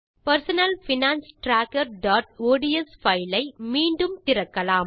personal finance trackerஒட்ஸ் file ஐ மீண்டும் திறக்கலாம்